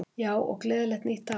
Já, og gleðilegt nýtt ár!